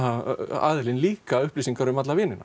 aðilinn líka upplýsingar um alla vinina